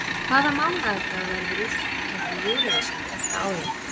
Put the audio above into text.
Hvaða mánaðardag verður úrslitakeppni Eurovision þetta árið?